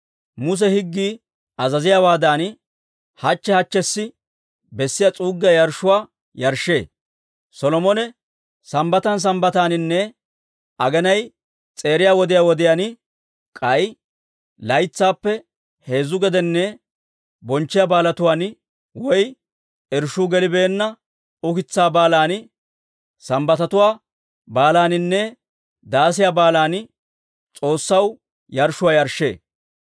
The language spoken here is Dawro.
Muse higgii azaziyaawaadan hachche hachchessi bessiyaa s'uuggiyaa yarshshuwaa yarshshee. Solomone Sambbatan Sambbataaninne aginay s'eeriya wodiyaan wodiyaan, k'ay laytsaappe heezzu gedenne bonchchiyaa baalatuwaan (irshshuu gelibeenna ukitsaa Baalan, Saaminttatuwaa Baalaaninne Daasiyaa Baalan) S'oossaw yarshshuwaa yarshshee.